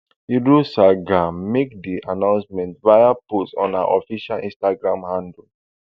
irosanga make di announcement via post on her official instagram handle